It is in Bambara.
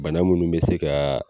Bana munnu mɛ se ka